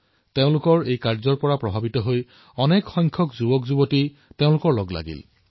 এই সুন্দৰ চিন্তাধাৰাৰ দ্বাৰা প্ৰভাৱিত হৈ বহু যুৱকযুৱতীয়ে তেওঁলোকৰ সৈতে জড়িত হৈ পৰিলে